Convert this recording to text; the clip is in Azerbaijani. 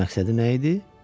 Bəs məqsədi nə idi?